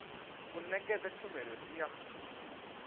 u nekedza tshumelo ndi ya